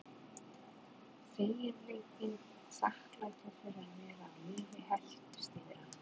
Feginleikinn og þakklætið fyrir að vera á lífi helltist yfir hann.